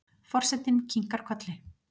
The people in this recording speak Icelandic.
Forsetinn kinkar kolli.